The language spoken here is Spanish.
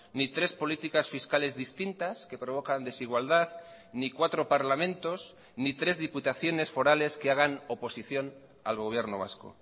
ni tres políticas fiscales distintas que provocan desigualdad ni cuatro parlamentos ni tres diputaciones forales que hagan oposición al gobierno vasco